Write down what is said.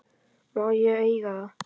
Má ég eiga það?